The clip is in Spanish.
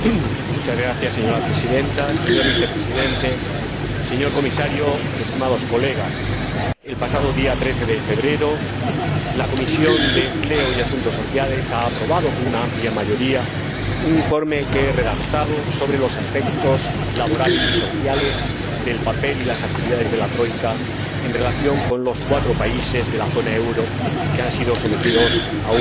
Señora Presidenta, señor Vicepresidente, señor Comisario, Señorías, el pasado día 13 de febrero la Comisión de Empleo y Asuntos Sociales aprobó por una amplia mayoría un informe que he redactado sobre los aspectos laborales y sociales del papel y las actividades de la Troika en relación con los cuatro países de la zona del euro que han sido sometidos a un programa.